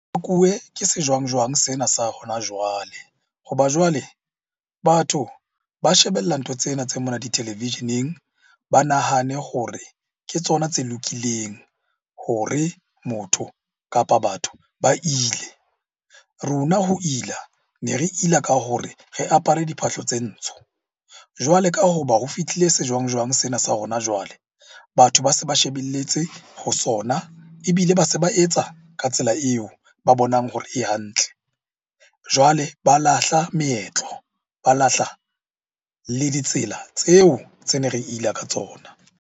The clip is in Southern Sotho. Ke sejwang-jwang sena sa hona jwale. Ho ba jwale batho ba shebella ntho tsena tse mona ditelevisheneng, ba nahane hore ke tsona tse lokileng hore motho, kapa batho ba ile. Rona ho ila, ne re ile ka hore re apare diphahlo tse ntsho. Jwale ka hoba ho fihlile sejwang-jwang sena sa hona jwale. Batho ba se ba shebelletse ho sona ebile ba se ba etsa ka tsela eo ba bonang hore e hantle. Jwale ba lahla meetlo, ba lahla le ditsela tseo tse ne re ila ka tsona.